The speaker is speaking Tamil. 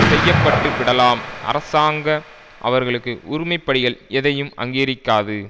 செய்யப்பட்டுவிடலாம் அரசாங்க அவர்களுக்கு உரிமை படிகள் எதையும் அங்கீகரிக்காது